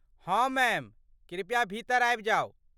हँ, मैम, कृपया भीतर आबि जाउ।